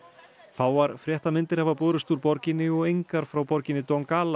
fáar fréttamyndir hafa borist úr borginni og engar frá borginni